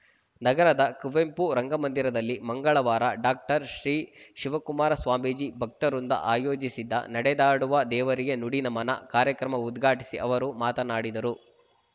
ನಗರದ ಕುವೆಂಪು ರಂಗಮಂದಿರದಲ್ಲಿ ಮಂಗಳವಾರ ಡಾಕ್ಟರ್ ಶ್ರೀ ಶಿವಕುಮಾರ ಸ್ವಾಮೀಜಿ ಭಕ್ತವೃಂದ ಆಯೋಜಿಸಿದ್ದ ನಡೆದಾಡುವ ದೇವರಿಗೆ ನುಡಿನಮನ ಕಾರ್ಯಕ್ರಮ ಉದ್ಘಾಟಿಸಿ ಅವರು ಮಾತನಾಡಿದರು